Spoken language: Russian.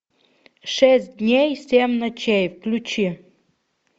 шесть дней семь ночей включи